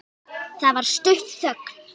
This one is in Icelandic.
Það varð stutt þögn.